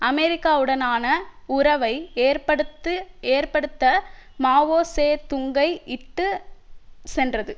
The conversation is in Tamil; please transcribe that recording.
அமெரிக்காவுடனான உறவை ஏற்படுத்து ஏற்படுத்த மாவோ சே துங்கை இட்டு சென்றது